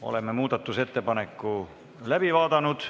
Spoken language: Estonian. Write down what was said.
Oleme muudatusettepaneku läbi vaadanud.